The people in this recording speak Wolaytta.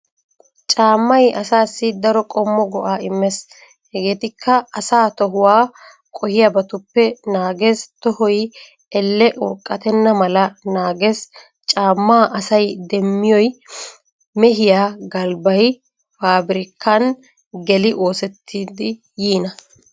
Caammay asaassi daro qommo go'aa immees hegeetikka:- asaa tohuwaa qohiyaabatuppe naagees, tohoy Elle urqqatenna mala naagees. Caammaa asay demmiyoy mehiyaa galbbay faabirkkan geli oosettidi yiina.